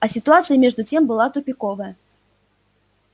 а ситуация между тем была тупиковая